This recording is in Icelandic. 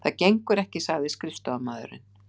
Það gengur ekki sagði skrifstofumaðurinn.